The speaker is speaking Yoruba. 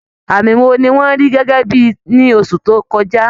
Àmì wo ni wọ́n rí gẹ́gẹ́ bí ibi ní oṣù tó kọjá?